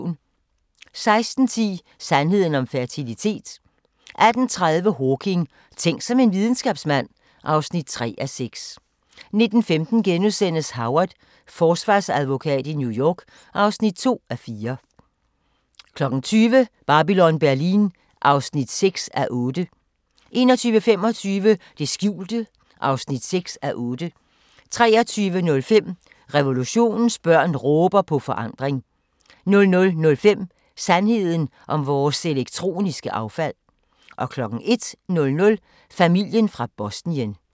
16:10: Sandheden om fertilitet 18:30: Hawking: Tænk som en videnskabsmand (3:6) 19:15: Howard – forsvarsadvokat i New York (2:4)* 20:00: Babylon Berlin (6:8) 21:25: Det skjulte (6:8) 23:05: Revolutionens børn råber på forandring 00:05: Sandheden om vores elektroniske affald 01:00: Familien fra Bosnien